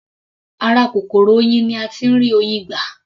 Ara kòkòrò oyin ni a tí ń rí Oyin gbà.